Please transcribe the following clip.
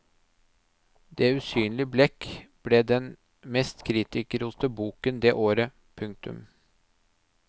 Det usynlige blekk ble den mest kritikerroste boken det året. punktum